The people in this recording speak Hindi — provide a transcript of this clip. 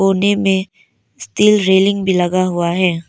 में स्टील रेलिंग भी लगा हुआ है।